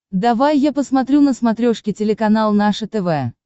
давай я посмотрю на смотрешке телеканал наше тв